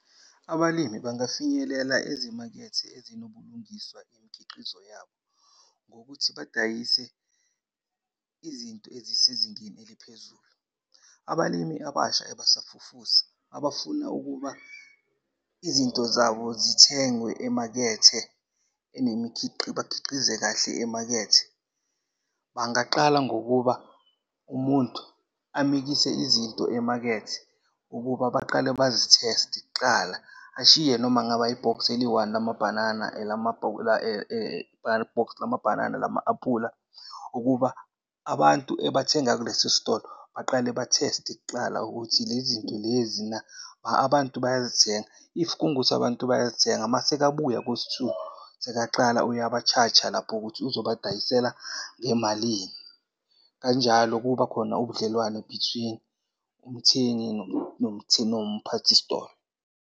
Abalimi bangafinyelela ezimakethe ezinobulungiswa imikhiqizo yabo ngokuthi badayise izinto ezisezingeni eliphezulu. Abalimi abasha ebasafufusa abafuna ukuba izinto zabo zithengwe emakethe bakhiqize kahle emakethe, bangaqala ngokuba umuntu amikise izinto emakethe ukuba baqale bazitheste kuqala. Ashiye noma kungaba i-box eliyi-one lamabhanana, elama-aphula box lamabhanana, elama-aphula ukuba abantu ebathenga kulesi sitolo baqale batheste kuqala ukuthi le zinto lezi na abantu bayazithenga. If kungukuthi abantu bayazithenga mase ekabuya kwesi-two, sekayaqala uyaba-charge-a lapho ukuthi uzobadayisela ngamalini. Kanjalo kubakhona ubudlelwane between umthengi nomphathisitolo.